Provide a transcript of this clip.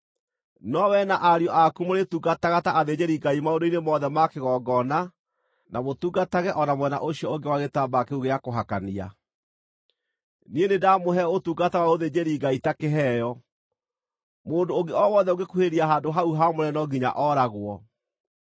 No rĩrĩ, no wee na ariũ aku mũrĩĩtungataga ta athĩnjĩri-Ngai maũndũ-inĩ mothe ma kĩgongona, na mũtungatage o na mwena ũcio ũngĩ wa gĩtambaya kĩu gĩa kũhakania. Niĩ nĩndamũhe ũtungata wa ũthĩnjĩri-Ngai ta kĩheo. Mũndũ ũngĩ o wothe ũngĩkuhĩrĩria handũ hau haamũre no nginya ooragwo.”